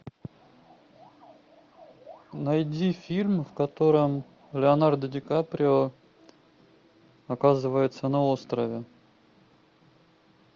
найди фильм в котором леонардо ди каприо оказывается на острове